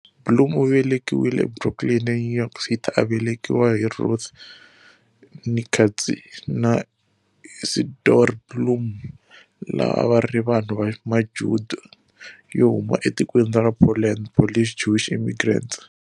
Blum u velekiwe eBrooklyn, eNew York City, a velekiwa hi Ruth, née Katz, na-Isidore Blum, lava a va ri vanhu va Majuda yo huma etikweni ra Poland, Polish Jewish immigrants.